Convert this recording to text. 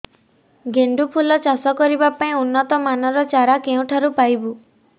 ଗେଣ୍ଡୁ ଫୁଲ ଚାଷ କରିବା ପାଇଁ ଉନ୍ନତ ମାନର ଚାରା କେଉଁଠାରୁ ପାଇବୁ